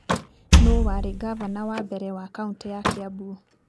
Nũũ warĩ ngavana wa mbere wa Kaunti ya Kiambu?